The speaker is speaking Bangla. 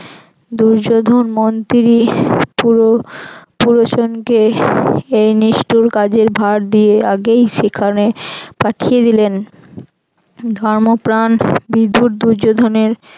দুর্যোধন মন্ত্রি পুরোচনকে এ নিষ্ঠুর কাজের ভারে দিয়ে আগেই সেখানে পাঠিয়ে দিলেন ধর্মপ্রাণ বিধুর দুর্যোধনের